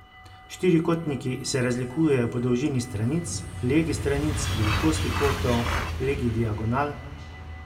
Štirikotniki se razlikujejo po dolžini stranic, legi stranic, velikosti kotov, legi diagonal ...